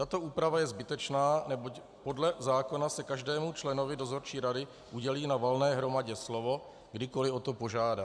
Tato úprava je zbytečná, neboť podle zákona se každému členovi dozorčí rady udělí na valné hromadě slovo, kdykoli o to požádá.